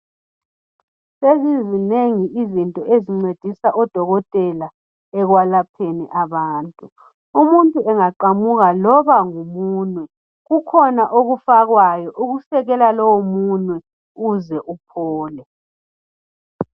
Sezizinengi izinto ezincedisa odokotela ekwelapheni abantu umuntu engaqamuka loba ngumunwe kukhona okufakwayo okusekela lowo munwe uze uphole.